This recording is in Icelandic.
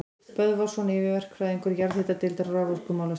Böðvarsson yfirverkfræðingur jarðhitadeildar raforkumálastjóra.